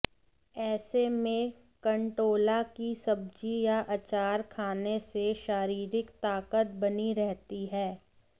ऐसे में कंटोला की सब्जी या अचार खाने से शारीरिक ताकत बनी रहती है